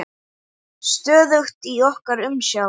Stöðugt í okkar umsjá.